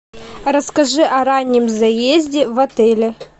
расскажи о раннем заезде в отеле